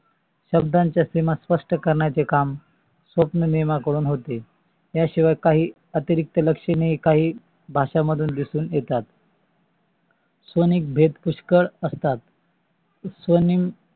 शब्दची सिमा स्पष्ट करण्याचे काम सस्व्नेयामा काढून होते. या शिवाय काही अतिरिक्त लक्षणे ही काही भाषा मधून दिसून येतेत स्वनेक भेद पुष्कळ असतात. स्वनेम